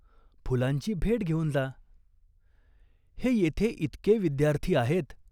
फुलांची भेट घेऊन जा." "हे येथे इतके विद्यार्थी आहेत.